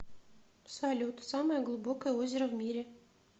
салют самое глубокое озеро в мире